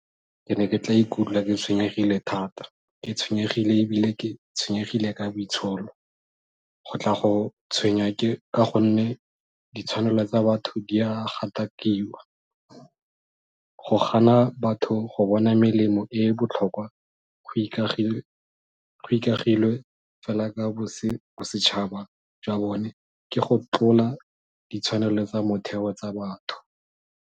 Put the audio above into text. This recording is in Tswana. Ke ne ke tla ikutlwa ke tshwenyegile thata, ke tshwenyegile ebile ke tshwenyegile ka boitsholo go tla go tshwenya ke ka gonne ditshwanelo tsa batho di a gatakiwa. Go gana batho go bona melemo e e botlhokwa go ikagilwe fela ka bosetšhaba jwa bone ke go tlola ditshwanelo tsa motheo tsa batho.